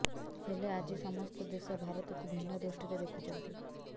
ହେଲେ ଆଜି ସମସ୍ତ ଦେଶ ଭାରତକୁ ଭିନ୍ନ ଦୃଷ୍ଟିରେ ଦେଖୁଛନ୍ତି